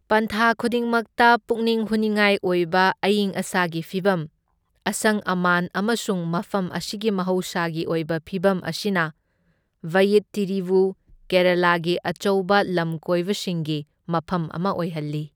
ꯄꯟꯊꯥ ꯈꯨꯗꯤꯡꯃꯛꯇ ꯄꯨꯛꯅꯤꯡ ꯍꯨꯅꯤꯡꯉꯥꯏ ꯑꯣꯏꯕ ꯑꯏꯪ ꯑꯁꯥꯒꯤ ꯐꯤꯚꯝ, ꯑꯁꯪ ꯑꯃꯥꯟ ꯑꯃꯁꯨꯡ ꯃꯐꯝ ꯑꯁꯤꯒꯤ ꯃꯍꯧꯁꯥꯒꯤ ꯑꯣꯏꯕ ꯐꯤꯚꯝ ꯑꯁꯤꯅ ꯚꯌꯤꯠꯇꯤꯔꯤꯕꯨ ꯀꯦꯔꯥꯂꯥꯒꯤ ꯑꯆꯧꯕ ꯂꯝꯀꯣꯏꯕꯁꯤꯡꯒꯤ ꯃꯐꯝ ꯑꯃ ꯑꯣꯏꯍꯜꯂꯤ꯫